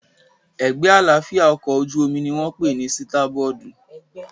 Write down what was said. Ẹ̀gbẹ́ àlàáfíà ọkọ̀ ojú-omi ní wọ́n pè ní sítábọ́ọ̀dù